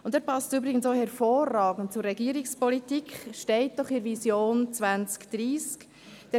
Und er passt übrigens auch hervorragend zur Regierungspolitik, steht doch in der Vision 2030: